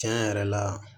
Tiɲɛ yɛrɛ la